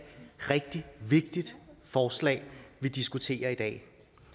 rigtig vigtigt forslag vi diskuterer i dag